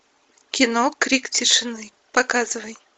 кино крик тишины показывай